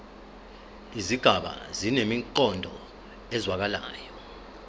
izigaba zinemiqondo ezwakalayo